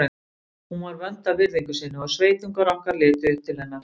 Hún var vönd að virðingu sinni og sveitungar okkar litu upp til hennar.